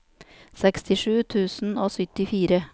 sekstisju tusen og syttifire